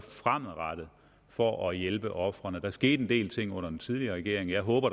fremadrettet for at hjælpe ofrene der skete en del ting under den tidligere regering og jeg håber